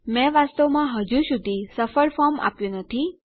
મેં વાસ્તવમાં હજુ સુધી સફળ ફોર્મ આપ્યું નથી